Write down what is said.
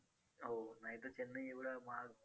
आमलात आणत नाही कमीतकमी तो प्रयत्न न आपले मत पक्के करू नका.